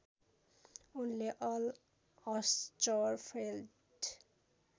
उनले Al Hirschfeld